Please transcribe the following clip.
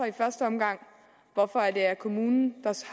i første omgang hvorfor det er kommunen